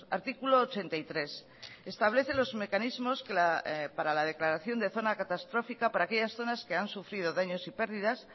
artículo ochenta y tres establece los mecanismos para la declaración de zona catastrófica para aquellas zonas que han sufrido daños y pérdidas